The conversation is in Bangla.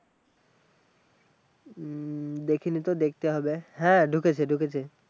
হম দেখিনিতো দেখতে হবে, হ্যাঁ ঢুকেছে ঢুকেছে